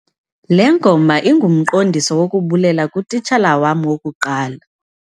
Le ngoma ingumqondiso wokubulela kutitshala wam wokuqala.